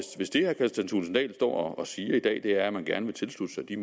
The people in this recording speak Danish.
hvis det herre kristian thulesen dahl står og siger i dag er at man gerne vil tilslutte sig de